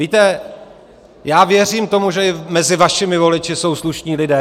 Víte, já věřím tomu, že i mezi vašimi voliči jsou slušní lidé.